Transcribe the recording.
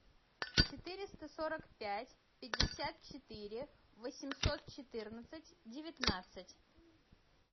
четыреста сорок пять пятьдесят четыре восемьсот четырнадцать девятнадцать